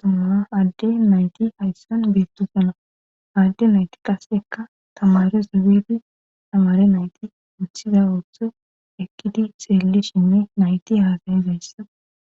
tomama adde nayti hayssan beettosana adde nayti qasekka tamare sobifi tamare nayti wuthiza ooththo ekkiti seellishinne nayti haasayizayssa